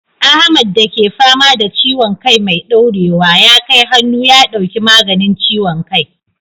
Ahmad da ke fama da ciwon kai mai daurewa, ya kai hannu ya dauki maganin ciwon kai.